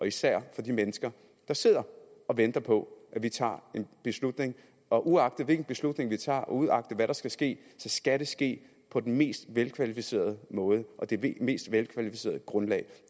især for de mennesker der sidder og venter på at vi tager en beslutning og uagtet hvilken beslutning vi tager og uagtet hvad der skal ske så skal det ske på den mest velkvalificerede måde og det mest velkvalificerede grundlag